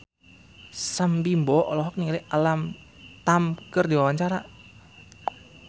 Sam Bimbo olohok ningali Alam Tam keur diwawancara